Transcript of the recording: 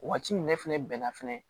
Waati in ne fɛnɛ bɛnna fɛnɛ